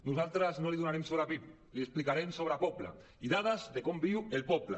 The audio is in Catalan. nosaltres no n’hi donarem sobre pib les hi explicarem sobre poble dades de com viu el poble